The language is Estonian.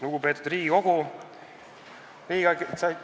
Lugupeetud Riigikogu!